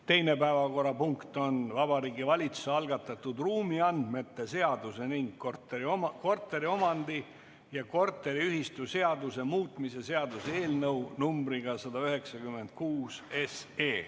Teine päevakorrapunkt on Vabariigi Valitsuse algatatud ruumiandmete seaduse ning korteriomandi- ja korteriühistuseaduse muutmise seaduse eelnõu numbriga 196.